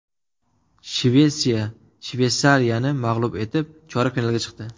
Shvetsiya Shveysariyani mag‘lub etib, chorak finalga chiqdi.